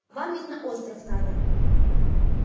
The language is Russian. вам ведь на остров надо